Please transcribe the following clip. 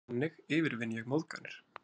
Þannig yfirvinn ég móðganir.